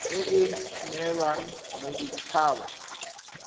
e e neelwang modit haba